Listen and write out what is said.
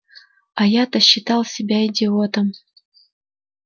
а я-то считал себя идиотом